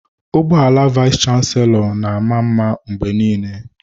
Ụgbọ ala vayis chansilọ na-ama mma mgbe niile.